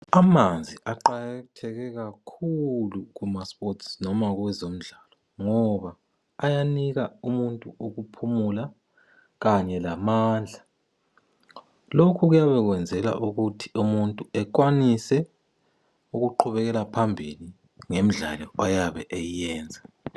Amanzi aqakathele kakhulu kumasports noma kwezemidlalo ngoba ayanika umuntu ukuphumula Kanye lamandla lokhu kuyabe kuyenzelwa ukuthi umuntu ekwanise ukuqhubekela phambili ngemidlalo oyabe eyenza